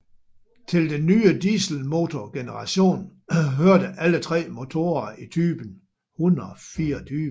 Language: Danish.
Til den nye dieselmotorgeneration hørte alle tre motorer i type 124